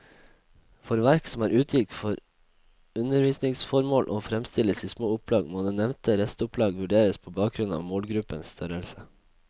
For verk som er utgitt for undervisningsformål og fremstilles i små opplag, må det nevnte restopplag vurderes på bakgrunn av målgruppens størrelse.